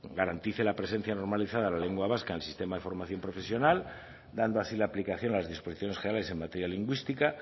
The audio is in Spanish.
garantice la presencia normalizada de la lengua vasca en el sistema de formación profesional dando así aplicación a las disposiciones generales en materia lingüística